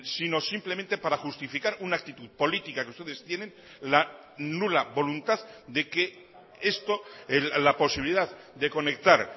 sino simplemente para justificar una actitud política que ustedes tienen la nula voluntad de que esto la posibilidad de conectar